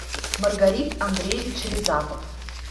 маргарит андреевич рязапов